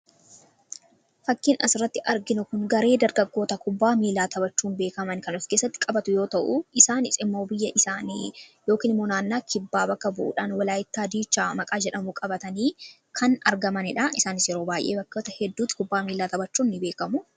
fakkiin as irratti arginu kun garee dargaggoota kubbaa miilaa tabachuun beekaman kanof keessatti qabatu yoo ta'u isaani ximmoo biyya isaanii yokmunaannaa kibbaa baka bu'uudhaan walaayitaa diichaa maqaa jedhamu qabatanii kan argamaniidha isaaniis yeroo baay'ee bakkata hedduutti kubbaa miilaa tabachuun ni beekamu